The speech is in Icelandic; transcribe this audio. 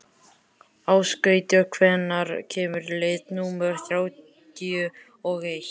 Ásgautur, hvenær kemur leið númer þrjátíu og eitt?